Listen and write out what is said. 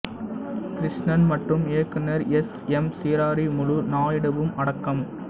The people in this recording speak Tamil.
கிருஷ்ணன் மற்றும் இயக்குனர் எஸ் எம் சிரீராமுலு நாயுடுவும் அடக்கம்